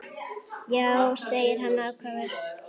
Já, segir hann ákafur.